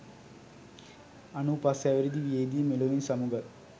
අනූ පස් හැවිරිදි වියේදී මෙලොවින් සමු ගත්